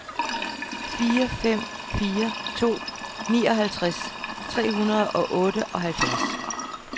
fire fem fire to nioghalvtreds tre hundrede og otteoghalvfjerds